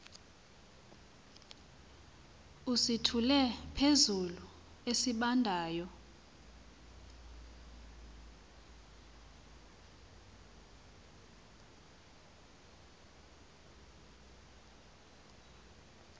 usithule phezulu esibandayo